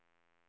tappade